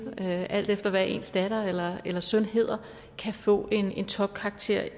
alt efter hvad ens datter eller søn hedder kan få en en topkarakter